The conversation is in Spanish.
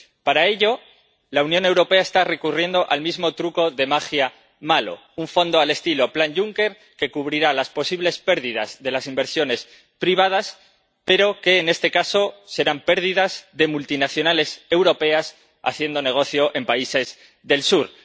Para ello, la Unión Europea está recurriendo al mismo truco de magia malo un fondo al estilo plan Juncker que cubrirá las posibles pérdidas de las inversiones privadas, pero que, en este caso, serán pérdidas de multinacionales europeas haciendo negocio en países del sur.